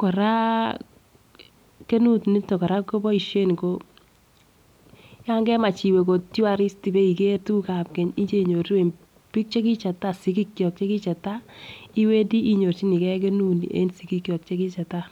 koraa kenut niton Koraa koboishen ko yon kemach iwee tourist ibeiker tukuk ab keny ibeinyoruu en bik chekichetai sikikchol chekichetai iwendii inyorchigee kenun nii en sikik chok chekichetai.